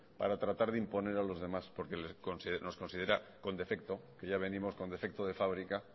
para tratar de imponer a los demás porque nos considera con defecto que ya venimos con defecto de fábrica